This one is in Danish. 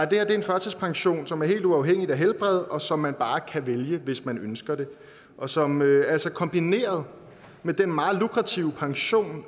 det her er en førtidspension som er helt uafhængig af helbred og som man bare kan vælge hvis man ønsker det og som altså kombineret med den meget lukrative pension